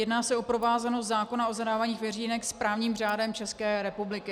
Jedná se o provázanost zákona o zadávání veřínek s právním řádem České republiky.